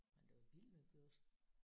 Men det var vildt med Børsen